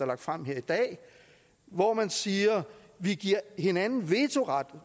lagt frem her i dag hvor man siger vi giver hinanden vetoret